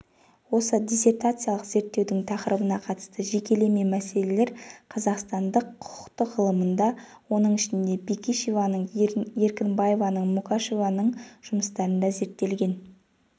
осы диссертациялық зерттеудің тақырыбына қатысты жекелеме мәселелер қазақстандық құқықтық ғылымда оның ішінде бекишеваның еркінбаеваның мукашеваның жұмыстарында зерттелген